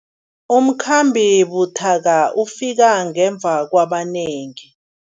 Umkhambi buthaka ufike ngemva kwabanengi.